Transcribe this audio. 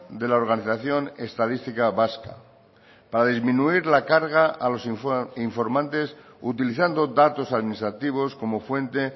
de la organización estadística vasca para disminuir la carga a los informantes utilizando datos administrativos como fuente